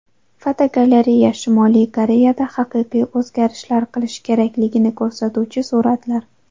Fotogalereya: Shimoliy Koreyada haqiqiy o‘zgarishlar qilish kerakligini ko‘rsatuvchi suratlar.